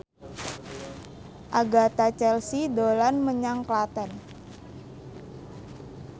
Agatha Chelsea dolan menyang Klaten